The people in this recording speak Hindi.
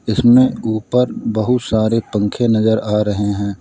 इसमें ऊपर बहुत सारे पंखे नजर आ रहे हैं।